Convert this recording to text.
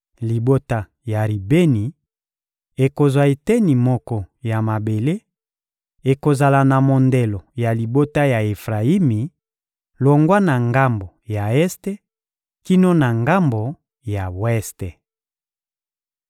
Libota ya Ribeni ekozwa eteni moko ya mabele: ekozala na mondelo ya libota ya Efrayimi, longwa na ngambo ya este kino na ngambo ya weste.